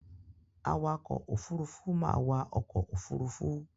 Awakọ̀-òfurufú máa wa ọkọ̀-òfurufú.